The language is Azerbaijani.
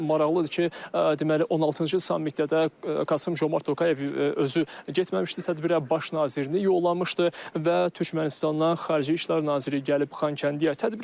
Maraqlıdır ki, deməli 16-cı sammitdə də Qasım Comart Tokayev özü getməmişdi tədbirə baş nazirini yollamışdı və Türkmənistandan xarici işlər naziri gəlib Xankəndiyə.